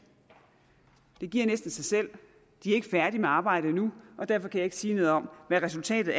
det giver næsten sig selv de er ikke færdige med arbejdet endnu og derfor kan jeg ikke sige noget om hvad resultatet